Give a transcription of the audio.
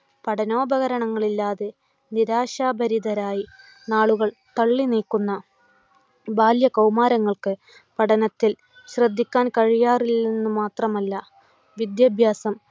പഠനോപകരണങ്ങൾ ഇല്ലാതെ നിരാശാഭരിതരായി നാളുകൾ തള്ളി നീക്കുന്ന ബാല്യ കൗമാരങ്ങൾക്ക് പഠനത്തിൽ ശ്രദ്ധിക്കാൻ കഴിയാറില്ലെന്ന് മാത്രമല്ല വിദ്യഭ്യാസം